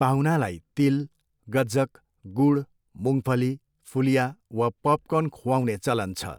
पाहुनालाई तिल, गज्जक, गुड, मुङफली फुलिया वा पपकर्न खुवाउने चलन छ।